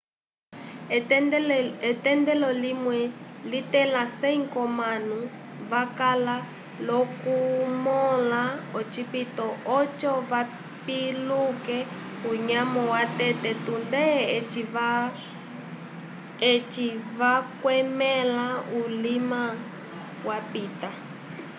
etendelo limwe litẽla 100 k'omanu vakala l'okumõla ocipito oco vapiluke unyamo watete tunde eci vakwẽla ulima wapita